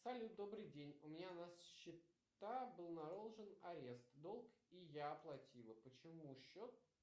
салют добрый день у меня на счета был наложен арест долг и я оплатила почему счет